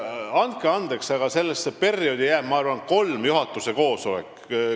Andke andeks, aga sellesse perioodi jääb, ma arvan, kolm juhatuse koosseisu.